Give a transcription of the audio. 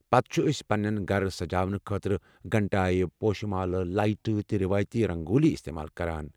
پتہٕ چھِ ٲسۍ پنُن گرٕ سجاونہٕ خٲطرٕ گھنٹایہِ، پوشہِ مالہٕ، لایٹہٕ تہٕ رٮ۪وٲیتی رنگولہِ استعمال کران۔